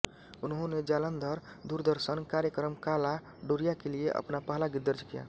उन्होंने जालंधर दूरदर्शन कार्यक्रम काला डोरिया के लिए अपना पहला गीत दर्ज किया